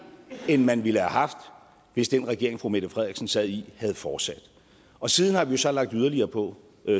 end man ville have haft hvis den regering fru mette frederiksen sad i havde fortsat og siden har vi jo så lagt yderligere på